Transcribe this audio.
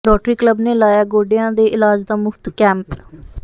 rotary club ਨੇ ਲਾਇਆ ਗੋਡਿਆਂ ਦੇ ਇਲਾਜ ਦਾ ਮੁਫ਼ਤ ਕੈਂਪ